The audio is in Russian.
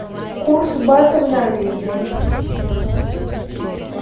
курс бата в норвегии